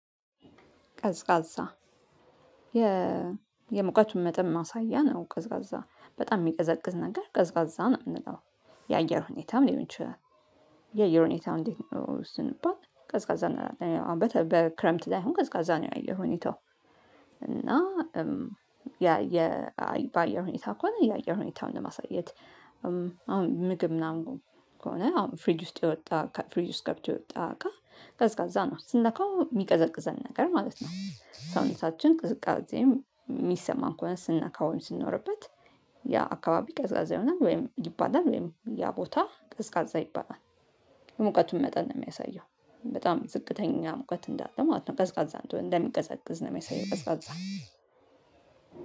ቀዝቃዛ የሙቀቱን መጠን ማሳያ ነው። ቀዝቃዛ በጣም የሚቀዘቅዝ ነገር ቀዝቃዛ ነው የምንለው የአየር ሁኔታም ሊሆን ይችላል። የአየር ሁኔታም እንዴት ነው? ስንባል ቀዝቃዛ እንላለን በክረምት ላይ አሁን ቀዝቃዛ ነው የአየር ሁኔታው። እና ያ የባአየር ሁኔታ ከሆነ የአየር ሁኔታውን ለማሳየት አሁን ምግብ ምናምን ከሆነ አሁን ፍሪጅ ውስጥ የወጣ ፍሪጅ ውስጥ ገብቶ የወጣ እቃ ቀዝቃዛ ነው ስንነካው የሚቀዘቅዘን ነገር ማለት ነው። ሰውነታችን ቅዝቃዜም የሚሰማን ከሆነ ሰንነካው ወይም ስንኖርበት ያ አካባቢ ቀዝቃዛ ይሆናል ወይም ይባላል ወይም ያ ቦታ ቀዝቃዛ ይባላል። ሙቀቱን መጠን ነው የሚያሳየው በጣም ዝቅተኛ ሙቀት እንዳለ ማለት ነው። ቀዝቃዛ እንደሆነ እንደሚቀዘቅዝ ነው የሚያሳየው። ቀዝቃዛ